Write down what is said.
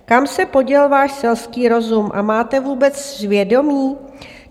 Kam se poděl váš selský rozum a máte vůbec svědomí?